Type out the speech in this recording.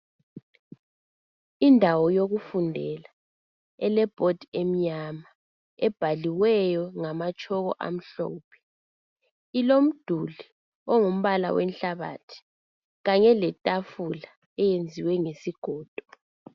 Indawo yokufundela elebhodi emnyama. Ebhaliweyo ngamatshoko amhlophe. Ilomduli engumbala wenhlabathi kanye letafula eyenziwe ngesigodo.